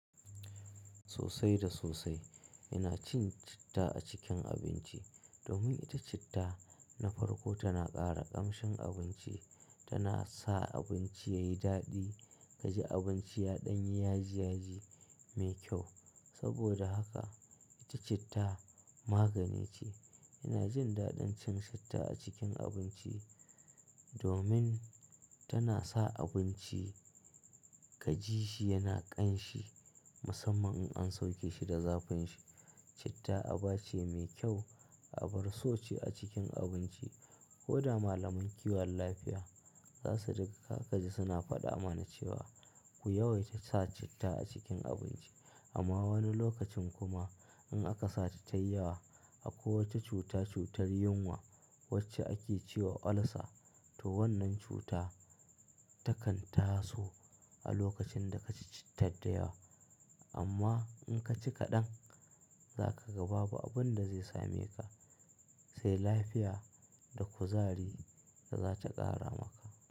Sosai da sosai ina cin citta a cikin abinci domin ita citta na farko tana ƙara ƙamshin abinci, tana sa abinci yayi daɗi, kaji abinci ya ɗanyi yaji-yaji mai kyau. Saboda haka ita citta magani ce. Ina jin daɗin cin citta a cikin abinci domin tana sa abinci ka ji shi yana ƙanshi musamman in an sauke shi da zafin shi. Citta aba ce mai kyau, abarso ce a cikin abinci. Ko da malaman kiwon lafiya za su riga ka kaji suna faɗa mana cewa ku yawaita sa citta a cikin abinci amma wani lokacin kuma in aka sa ta tayi yawa a ko wacce cuta cutar yunwa wacce ake ce wa ulcer to wannan cuta takan taso a lokacin da ka ci cittar da yawa. Amma in ka ci kaɗan za kaga babu abun da zai same ka sai lafiya da kuzari da za ta ƙara maka.